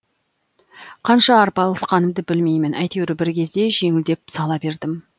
қанша арпалысқанымды білмеймін айтеуір бір кезде жеңілдеп сала бердім